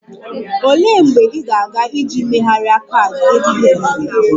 Olee mgbe ị ga-aga iji megharịa kaadị ATM gị?